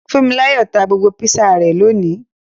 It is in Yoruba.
Funmilayo ta gbogbo Písà rẹ lóni.